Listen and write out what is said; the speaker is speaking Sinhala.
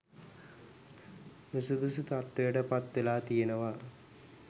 නුසුදුසු තත්ත්වයට පත් වෙලා තියෙනවා